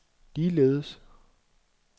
ligeledes